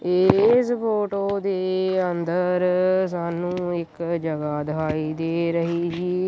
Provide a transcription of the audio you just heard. ਇਸ ਫੋਟੋ ਦੇ ਅੰਦਰ ਸਾਨੂੰ ਇੱਕ ਜਗਹਾ ਦਿਖਾਈ ਦੇ ਰਹੀ ਜੀ।